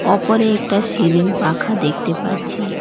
ওপরে একটা সিলিং পাখা দেখতে পাচ্ছি।